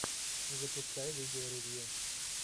запускай видеоревью